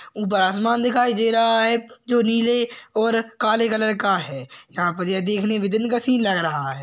उपर आसमान दिखाई दे रहा है जो नीले और काले कलर का है यहा पे मुझे देखने में दिन का सीन लग रहा है।